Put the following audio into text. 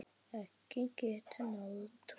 Eggin geta náð tugi.